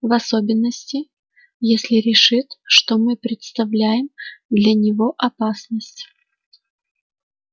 в особенности если решит что мы представляем для него опасность